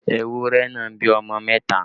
Ewúrẹ́ náà bí ọmọ mẹta